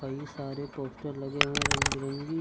कई सारे पोस्टर लगे हुए हैं रंग बिरंगी।